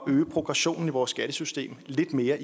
at øge progressionen i vores skattesystem lidt mere